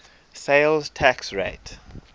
sales tax rate